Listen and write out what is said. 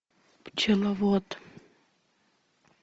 пчеловод